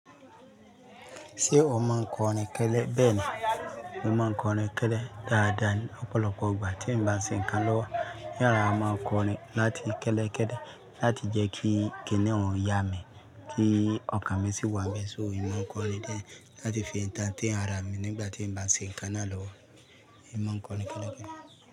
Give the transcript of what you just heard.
Ṣé o máa ń kọrin kẹ́lẹ́? Bẹ́ẹ̀ ni, mo máa ń kọrin kẹ́lẹ́ dáadáa ni. Ọ̀pọ̀lọpọ̀ ìgbà tí n bá ṣe nǹkan lọ́wọ́, n rorà máa ń kọrin láti kẹ́lẹ́ kẹ́lẹ́ láti jẹ́ kí kíniún yá mi kí ọkàn mi sì wà bẹ́ẹ̀. So, èmi máa ń kọrin dé láti fi entertain àrà mi nígbà tí n bá ṣe nǹkan náà lọ́wọ́. N máa ń kọrin kẹ́lẹ́ kẹ́lẹ́.